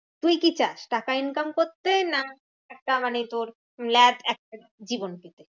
তুই কি চাস? টাকা income করতে? না মানে তোর lab এক কি বলিস?